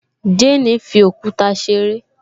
Jane fi òkúta ṣeré